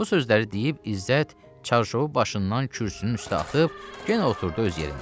Bu sözləri deyib İzzət çarşovunu başından kürsünün üstə atıb, yenə oturdu öz yerində.